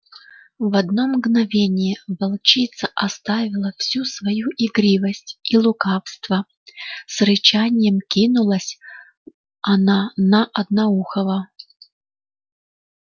в одно мгновение волчица оставила всю свою игривость и лукавство с рычанием кинулась она на одноухого